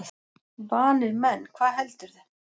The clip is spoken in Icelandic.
Vanir menn, hvað heldurðu!